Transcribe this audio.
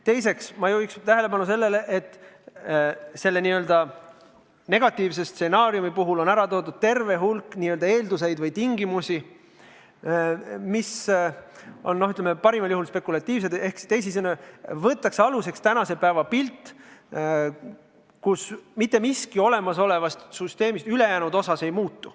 Teiseks juhiksin ma tähelepanu sellele, et selle n-ö negatiivse stsenaariumi puhul on esile toodud terve hulk n-ö eelduseid või tingimusi, mis parimal juhul on spekulatiivsed, ehk teisisõnu võetakse aluseks tänase päeva pilt ja eeldatakse, et mitte miski olemasolevast süsteemist ülejäänud osas ei muutu.